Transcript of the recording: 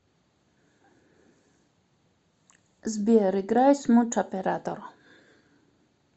сбер играй смут оператор